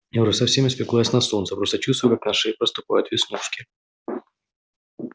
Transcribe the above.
я уже совсем испеклась на солнце просто чувствую как на шее проступают веснушки